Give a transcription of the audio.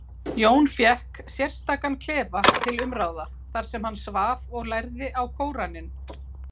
Jón fékk sérstakan klefa til umráða þar sem hann svaf og lærði á Kóraninn.